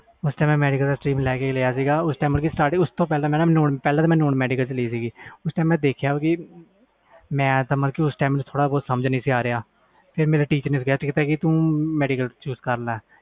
ਪਹਲੇ ਮੈਂ non medical ਲਿਆ ਸੀ ਤੇ ਮੈਨੂੰ ਸਮਝ ਨਹੀਂ ਆ ਰਹੀ ਸੀ ਤੇ ਫਿਰ ਮੈਨੂੰ teacher ਨੇ ਕਿਹਾ ਤੂੰ ਮੈਡੀਕਲ ਲੈ ਲੈ